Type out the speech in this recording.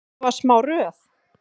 Það var smá röð.